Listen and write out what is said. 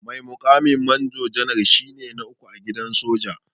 Mai mukamin manjo janar shine na uku a gidan soja.